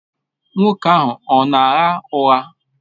Nwoke ahụ ọ na-agha ụgha?